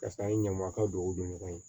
Karisa in ye ɲamakala don o don ɲɔgɔn ye